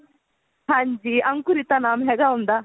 ਹਾਂਜੀ ਅੰਕੁਰਿਤਾ ਨਾਮ ਹੈਗਾ ਉਹਦਾ